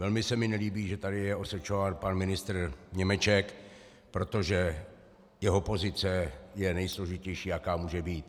Velmi se mi nelíbí, že tady je osočován pan ministr Němeček, protože jeho pozice je nejsložitější, jaká může být.